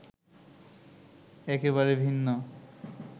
একেবারে ভিন্ন